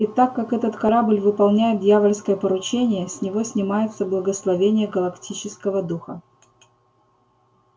и так как этот корабль выполняет дьявольское поручение с него снимается благословение галактического духа